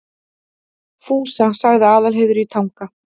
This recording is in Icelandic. Fúsa, sagði Aðalheiður í Tanga.